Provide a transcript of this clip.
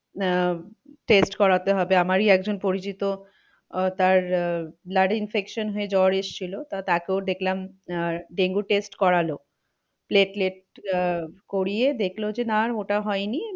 আহ test করাতে হবে। আমারই একজন পরিচিত আহ তার আহ blood infection হয়ে জ্বর এসেছিল। তা তাকেও দেখলাম আহ ডেঙ্গু test করালো। আহ করিয়ে দেখলো যে না ওটা হয়নি।